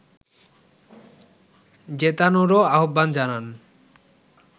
জেতানোরও আহ্বান জানান